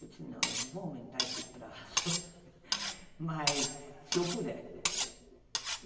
Eu disse, não, eu vou aumentar esse prazo, mas se eu puder.